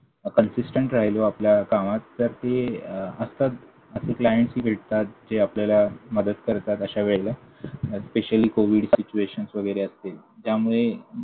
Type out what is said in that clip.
consistent राहिलो आपल्या कामात तर ते असतात असे CLIENTS ही भेटतात, जे आपल्या मदत करतात अशा वेळेला. आणि specially covid situations वगैरे असतील ज्यामुळे